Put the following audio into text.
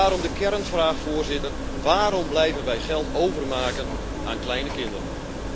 Daarom de kernvraag, Voorzitter, waarom blijven wij geld overmaken aan kleine kinderen?